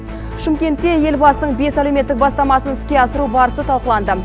шымкентте елбасының бес әлеуметтік бастамасын іске асыру барысы талқыланды